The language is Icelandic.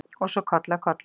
Og svo koll af kolli.